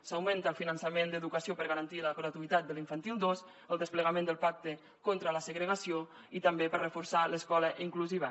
s’augmenta el finançament d’educació per a garantir la gratuïtat de l’infantil dos el desplegament del pacte contra la segregació i també per a reforçar l’escola inclusiva